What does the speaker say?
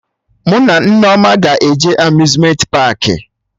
Mụ na Nneoma ga-eje Amuzmenti paakị